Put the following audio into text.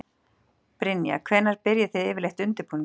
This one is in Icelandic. Brynja: Hvenær byrjið þið yfirleitt undirbúninginn?